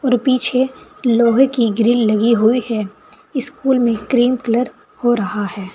पीछे लोहे की ग्रिल लगी हुई है स्कूल में क्रीम कलर हो रहा है।